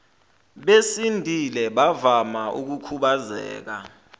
besindile bavama ukukhubazeka